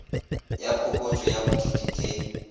ya phokotšo ya bodiidi ke